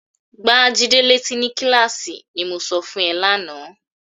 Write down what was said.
"Gbá Jídé létí ni kíláàsì", ní mo sọ fún ẹ lánàá.